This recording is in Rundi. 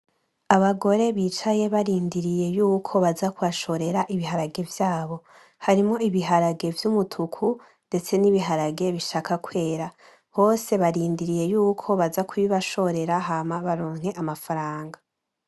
Abagore bicaye barindiriye yuko baza kubashorera ibiharage vyabo, harimwo ibiharage vyumutuku ndetse nibiharage bishaka kwera, bose barindiriye yuko baza kubibashorera hama baronke amafaranga.